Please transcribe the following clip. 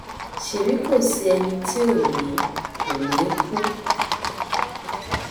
ṣèbí kò sí ẹni tí ò ní ò ní kú